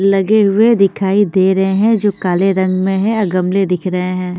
लगे हुए दिखाई दे रहे है जो काले रंग में है और गमले दिख रहे है।